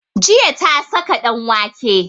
Jiya ta saka ɗanwake